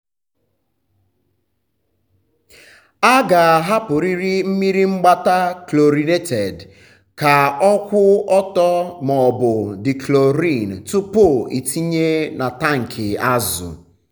a ga-ahapụrịrị mmiri mgbata chlorinated ka ọ kwụ ọtọ maọbụ dechlorin tupu ịtinye na tankị azụ.